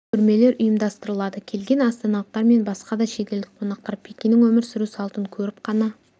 көрмелер ұйымдастырылады келген астаналықтар мен басқа да шетелдік қонақтар пекиннің өмір сүру салтын көріп қана